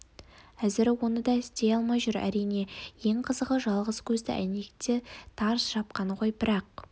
әзір оны да істей алмай жүр әрине ең қызығы жалғыз көзді әйнекті тарс жапқан ғой бірақ